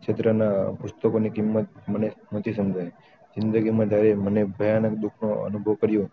ક્ષેત્ર ના પુસ્તકોની કિંમત મને નથી સમ્જયી જિંદગી માં જયારે મને ભયાનક દુખો અનુભવો કર્યો